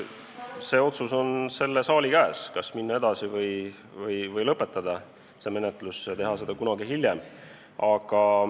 See otsus on selle saali käes, kas minna edasi või lõpetada praegu menetlus ja teha seda kunagi hiljem.